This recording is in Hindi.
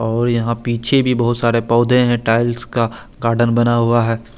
और यहा पीछे भी बोहोत सारे पोधे है टाइल्स का गार्डन बना हुआ है।